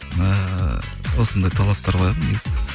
ыыы осындай талаптар қоямын негізі